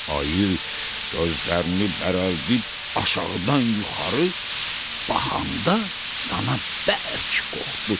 Ayı gözlərini bərəldib aşağıdan yuxarı baxanda dana bərk qorxdu.